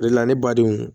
O de la ne badenw